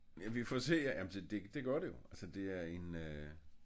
Ja vi får se ja men det gør det jo altså det er en